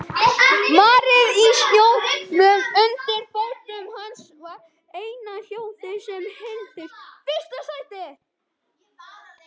Marrið í snjónum undir fótum hans var eina hljóðið sem heyrðist.